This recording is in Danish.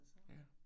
Ja